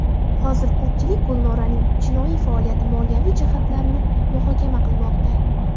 Hozir ko‘pchilik Gulnoraning jinoiy faoliyati moliyaviy jihatlarini muhokama qilmoqda.